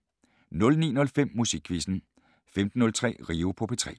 09:05: Musikquizzen 15:03: Rio på P3